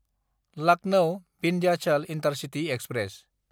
Lucknow-Vindhyachal intercity express